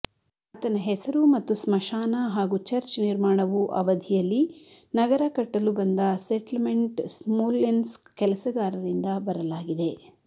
ಆತನ ಹೆಸರು ಮತ್ತು ಸ್ಮಶಾನ ಹಾಗು ಚರ್ಚ್ ನಿರ್ಮಾಣವು ಅವಧಿಯಲ್ಲಿ ನಗರ ಕಟ್ಟಲು ಬಂದ ಸೆಟ್ಲ್ಮೆಂಟ್ ಸ್ಮೋಲೆನ್ಸ್ಕ್ ಕೆಲಸಗಾರರಿಂದ ಬರಲಾಗಿದೆ